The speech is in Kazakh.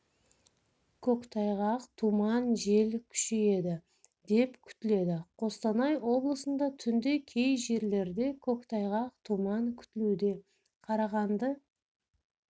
көктайғақ тұман жел күшейеді деп күтіледі қостанай облысында түнде кей жерлерде көктайғақ тұман күтілуде қарағанды